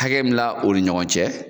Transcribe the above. Hakɛ bila o ni ɲɔgɔn cɛ,